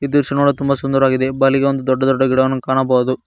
ಈ ದೃಶ್ಯ ನೋಡಲು ತುಂಬ ಸುಂದರವಾಗಿದೆ ಬಲಿಗೆ ಒಂದು ದೊಡ್ಡ ದೊಡ್ಡ ಗಿಡವನ್ನು ಕಾಣಬಹುದು.